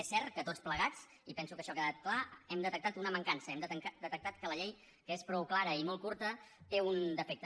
és cert que tots plegats i penso que això ha quedat clar hem detectat una mancança hem detectat que la llei que és prou clara i molt curta té un defecte